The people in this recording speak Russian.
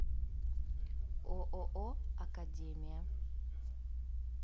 ооо академия